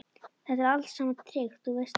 Þetta er allt saman tryggt, þú veist það.